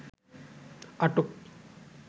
আটক